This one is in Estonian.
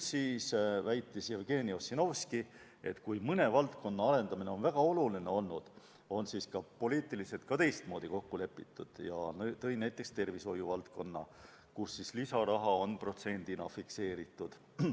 Siis väitis Jevgeni Ossinovski, et kui mõne valdkonna arendamine on olnud väga oluline, siis on ka poliitiliselt teistmoodi kokku lepitud, ja tõi näiteks tervishoiuvaldkonna, kus lisaraha on protsendina fikseeritud.